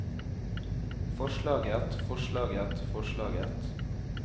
forslaget forslaget forslaget